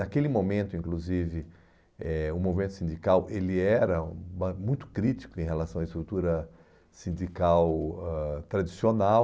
Naquele momento, inclusive, eh o movimento sindical ele era uma muito crítico em relação à estrutura sindical ãh tradicional.